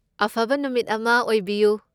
ꯑꯐꯕ ꯅꯨꯃꯤꯠ ꯑꯃ ꯑꯣꯏꯕꯤꯌꯨ꯫